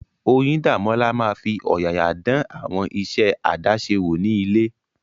Oyindamola máa fi ọ̀yàyà dán àwọn iṣẹ́ àdáṣe wò ní ilé.